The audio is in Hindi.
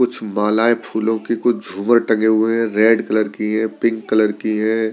कुछ मालाएं फूलों की कुछ झूमर टंगे हुए हैं रेड कलर की है पिंक कलर की है।